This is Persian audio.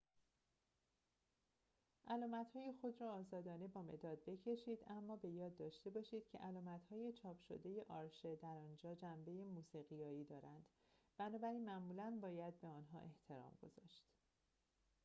علامت‌های خود را آزادانه با مداد بکشید اما به یاد داشته باشید که علامت‌های چاپ شده آرشه در آنجا جنبه موسیقیایی دارند بنابراین معمولا باید به آنها احترام گذاشت